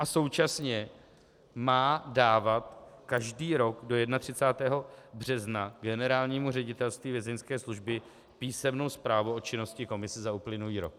A současně má dávat každý rok do 31. března Generálnímu ředitelství Vězeňské služby písemnou zprávu o činnosti komise za uplynulý rok.